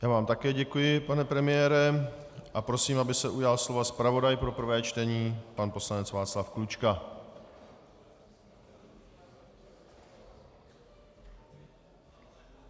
Já vám také děkuji, pane premiére, a prosím, aby se ujal slova zpravodaj pro prvé čtení pan poslanec Václav Klučka.